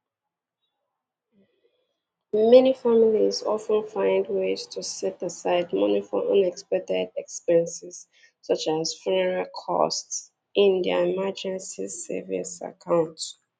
Ọtụtụ ezinụlọ na-ebutekarị ụzọ wepụta ego maka mmefu ndị atụghị anya ya, dịka ụgwọ olili ozu, na na akaụntụ nchekwa mberede ha.